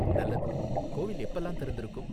நல்லது! கோவில் எப்பலாம் திறந்திருக்கும்?